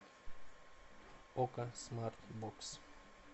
окко смарт бокс